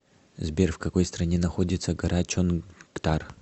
сбер в какой стране находится гора чонгтар